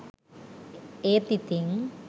ඒත් ඉතින්